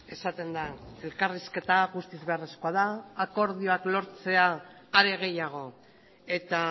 esaten da elkarrizketa guztiz beharrezkoa da akordioak lortzea are gehiago eta